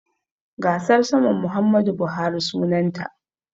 Gasar saman Muhammadu Buhari sunanta.